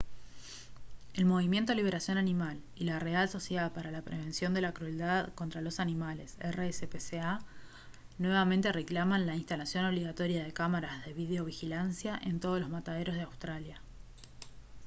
el movimiento liberación animal y la real sociedad para la prevención de la crueldad contra los animales rspca nuevamente reclaman la instalación obligatoria de cámaras de videovigilancia en todos los mataderos de australia